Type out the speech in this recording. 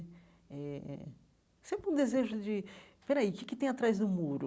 Eh eh sabe um desejo de... Espera aí, o que que tem atrás do muro?